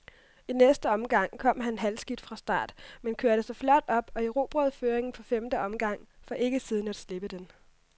I næste omgang kom han halvskidt fra start, men kørte sig flot op og erobrede føringen på femte omgang, for ikke siden at slippe den.